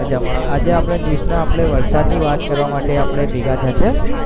મજામાં, આજે આપણે ના આપણે વરસાદની વાત કરવા માટે આપણે ભેગા થયા છીએ.